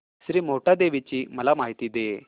श्री मोहटादेवी ची मला माहिती दे